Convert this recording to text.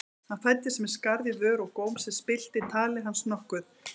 Hann fæddist með skarð í vör og góm sem spillti tali hans nokkuð.